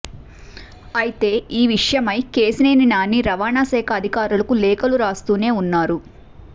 అయితే ఈ విషయమై కేశినేని నాని రవాణాశాఖ అధికారులకు లేఖలు రాస్తూనే ఉన్నారు